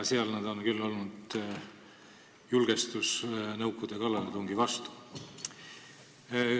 Seal on nad küll olnud julgestuseks Nõukogude kallaletungi vastu.